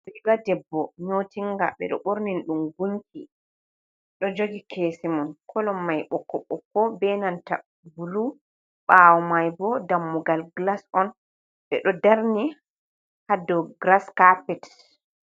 Riiga debbo nyootinga ɓe ɗo ɓornini ɗum gunki, ɗo joogi keesemun klolo mai ɓokko ɓokko be nanta bulu, ɓawo mai bo dammugal gilas on ɓe ɗo darni ha dou giras kaapet.